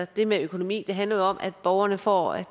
det med økonomi handler om at borgerne får